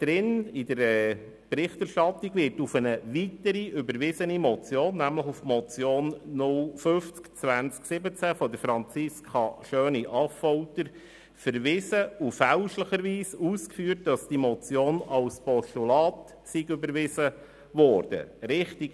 Darin wird auf eine weitere überwiesene Motion, nämlich die Motion 050-2017 von Franziska Schöni-Affolter verwiesen und fälschlicherweise ausgeführt, dass die Motion als Postulat überwiesen worden sei.